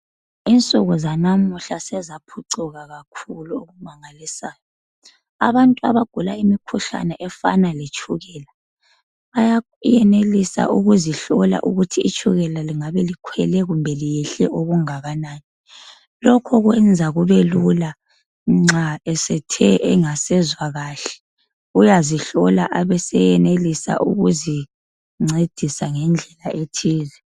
Insuku zanamuhla sezaphucuka kakhulu okumangalisayo. Abantu abagula imikhuhlane efana letshukela, bayenelisa ukuzihlola ukuthi itshukela lingabe likhwele kumbe liyehle okungakanani. Lokho kwenza kubelula nxa esethe engasezwa kahle, uyazihlola abeseyenelisa ukuzincedisa ngendlela ethile.